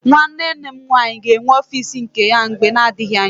Nwanne nne m nwaanyị ga-enwe ọfiisi nke ya mgbe na-adịghị anya.